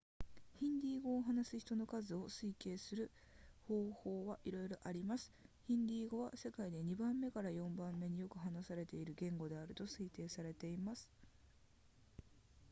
ヒンディー語を話す人の数を推計する方法はいろいろありますヒンディー語は世界で2番目から4番目によく話されている言語であると推定されています